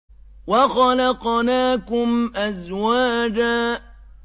وَخَلَقْنَاكُمْ أَزْوَاجًا